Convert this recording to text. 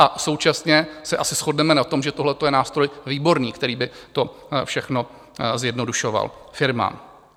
A současně se asi shodneme na tom, že tohle je nástroj výborný, který by to všechno zjednodušoval firmám.